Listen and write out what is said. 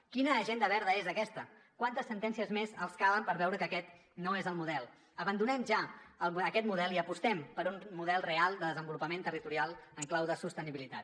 quina agenda verda és aquesta quantes sentències més els calen per veure que aquest no és el model abandonem ja aquest model i apostem per un model real de desenvolupament territorial en clau de sostenibilitat